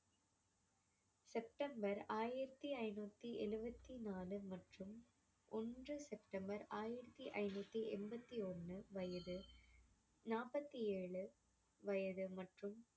September ஆயிரத்தி ஐநூத்தி எழுவத்தி நாலு மற்றும் ஒன்று செப்டெம்பர் ஆயிரத்தி ஐநூத்தி எண்பத்தி ஒண்ணு வயது நாற்பத்தி ஏழு வயது மற்றும்